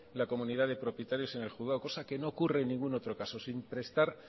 la comunidad de propietarios en el juzgado cosa que no ocurre en ningún otro caso sin presta